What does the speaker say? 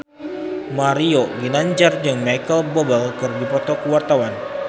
Mario Ginanjar jeung Micheal Bubble keur dipoto ku wartawan